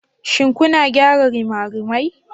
Shin kuna gyara rimarimai?